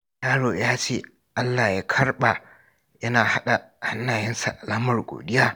Yaro ya ce "Allah ya karɓa" yana haɗa hannayensa alamar godiya.